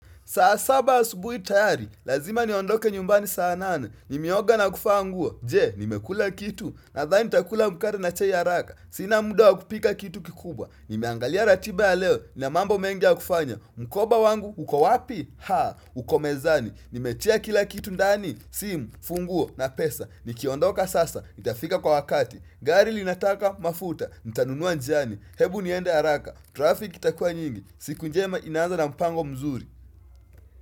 Saa saba asubuhi tayari, lazima niondoke nyumbani saa nane. Nimeoga na kuvaa nguo, je, nimekula kitu? Nadhani nitakula mkate na chai haraka. Sina muda wa kupika kitu kikubwa. Nimeangalia ratiba ya leo, nina mambo mengi ya kufanya. Mkoba wangu, uko wapi? Haa, uko mezani. Nimetia kila kitu ndani? Simu, funguo, na pesa. Nikiondoka sasa, nitafika kwa wakati? Gari linataka, mafuta, nitanunua njiani. Hebu niende haraka. Traffic itakua nyingi. Siku njema inaanza na mpango mzuri.